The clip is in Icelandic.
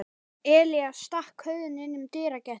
Elías stakk höfðinu inn um dyragættina.